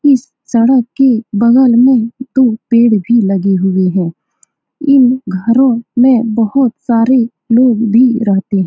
इस सड़क के बगल में दो पेड़ भी लगे हुए है इन घरो में बहुत सारे लोग भी रहते है।